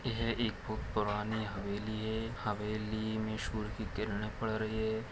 यह एक बहुत पुरानी हवेली है ये हवेली मे सूरज के किरने पड़ रही है।